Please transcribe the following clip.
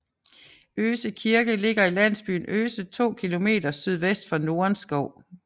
Øse Kirke ligger i landsbyen Øse 2 km sydvest for Nordenskov